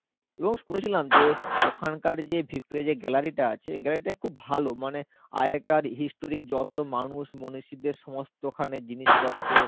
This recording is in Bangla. এবং শুনেছিলাম যে ওখানকার যে gallery টা আছে gallery টা খুব ভালো. মানে আগেকার historic যত মানুষ মনিষীদের সমস্ত ওখানে জিনিসপত্র